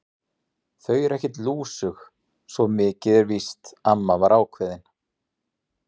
Þau eru ekkert lúsug, svo mikið er víst amma var ákveðin.